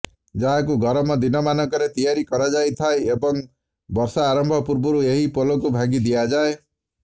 ଯାହାକୁ ଗରମ ଦିନମାନଙ୍କରେ ତିଆରି କରାଯାଇଥାଏ ଏବଂ ବର୍ଷା ଆରମ୍ଭ ପୂର୍ବରୁ ଏହି ପୋଲକୁ ଭାଙ୍ଗିଦିଆଯାଏ